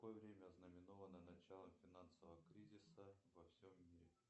какое время ознаменовано начало финансового кризиса во всем мире